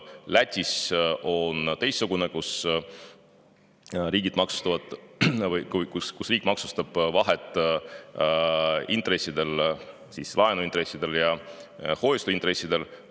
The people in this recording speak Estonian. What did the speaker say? Lätis on teistsugune, riik maksustab intresside vahet, laenuintresside ja hoiuseintresside vahet.